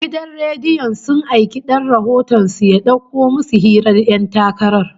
Gidan rediyon sun aiki dan rahoton su ya dauko musu hirar ƴan takarar